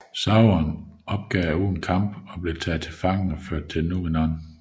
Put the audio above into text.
Sauron opgav uden kamp og blev taget til fange og ført til numenor